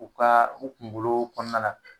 U kaa u kunkoloo kɔɔna la